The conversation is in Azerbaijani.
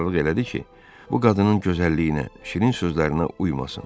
Qərarlıq elədi ki, bu qadının gözəlliyinə, şirin sözlərinə uymasın.